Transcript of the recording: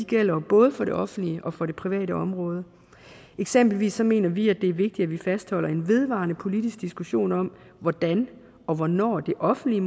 gælder jo både for det offentlige og for det private område eksempelvis mener vi at det er vigtigt at vi fastholder en vedvarende politisk diskussion om hvordan og hvornår det offentlige